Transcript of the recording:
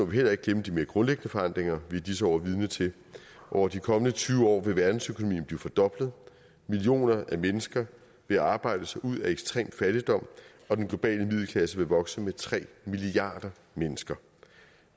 vi heller ikke glemme de mere grundlæggende forandringer vi i disse år er vidne til over de kommende tyve år vil verdensøkonomien blive fordoblet millioner af mennesker vil arbejde sig ud af ekstrem fattigdom og den globale middelklasse vil vokse med tre milliarder mennesker